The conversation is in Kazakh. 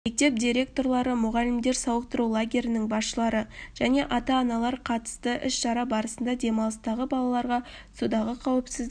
мектеп директорлары мұғалімдер сауықтыру лагерлерінің басшылары және ата-аналар қатысты іс-шара барысында демалыстағы балаларға судағы қауіпсіздік